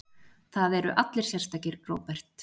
Það eru allir sérstakir, Róbert.